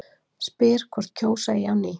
Spyr hvort kjósa eigi á ný